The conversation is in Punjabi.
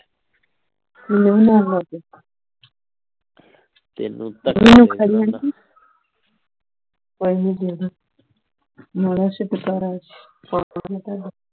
ਪੈਸੇ ਦੇ ਦੋ